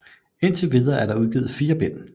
Indtil videre er der udgivet 4 bind